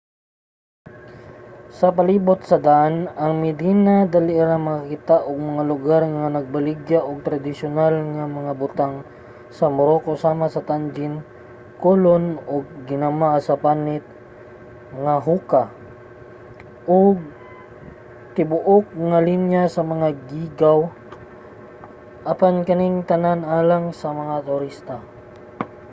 sa palibot sa daan nga medina dali ra makakita og mga lugar nga nagbaligya og tradisyonal nga mga butang sa morocco sama sa tagine kulon mga ginama sa panit mga hookah ug tibuok nga linya sa mga geegaw apan kaning tanan alang lang sa mga turista